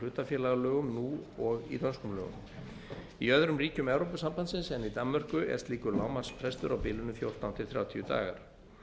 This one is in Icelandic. hlutafélagalögum nú og í dönskum lögum í öðrum ríkjum evrópusambandsins en í danmörku er slíkur lágmarksfrestur á bilinu fimmtán til þrjátíu dagar